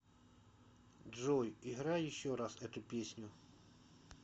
джой играй еще раз эту песню